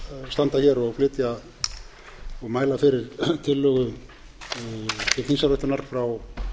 standa hér og mæla fyrir tillögu til þingsályktunar frá